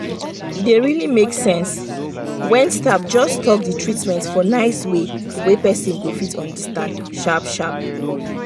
e dey dey really make sense when staff just talk the treatment for nice way wey person go fit understand sharp sharp.